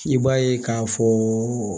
I b'a ye k'a fɔ